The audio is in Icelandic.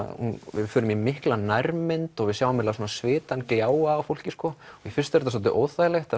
við förum í mikla nærmynd og við sjáum svona svitann gljáa af fólki sko fyrst er þetta dálítið óþægilegt